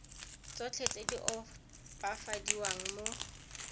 tsotlhe tse di opafadiwang mo